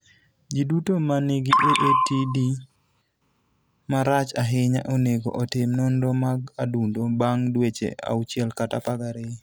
Ji duto ma nigi AATD marach ahinya onego otim nonro mag adundo bang ' dweche 6 kata 12.